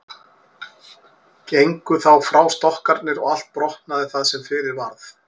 Gengu þá frá stokkarnir og allt brotnaði það sem fyrir varð.